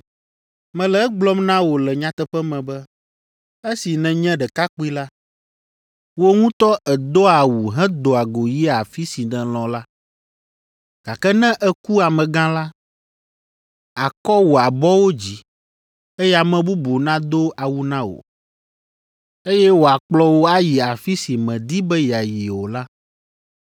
Mele egblɔm na wò le nyateƒe me be, esi nènye ɖekakpui la, wò ŋutɔ èdoa awu hedoa go yia afi si nèlɔ̃ la, gake ne èku amegã la, àkɔ wò abɔwo dzi, eye ame bubu nado awu na wò, eye wòakplɔ wò ayi afi si mèdi be yeayi o la.”